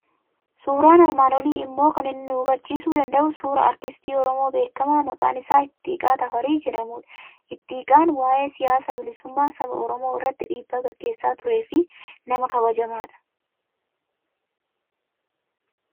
Suuraan armaan olii immoo kan inni nu hubachiisu danda'u suuraa Artistii Oromoo beekamaa maqaan isaa Ittiiqaa Tafarii jedhamudha. Ittiiqaan waa'ee siyaasa bilisummaa saba Oromoo irrattii dhiibbaa gaggeessaa turee fi nama kabajamaadha.